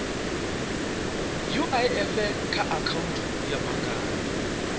uif kha akhaunthu ya banngani